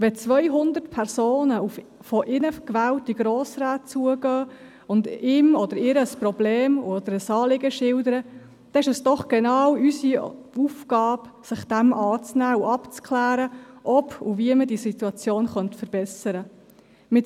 Wenn 200 Personen auf uns Grossräte zugehen und ihnen ein Problem oder ein Anliegen schildern, ist es doch genau unsere Aufgabe, sich dieser Sache anzunehmen und abzuklären, ob und wie man die betreffende Situation verbessern könnte.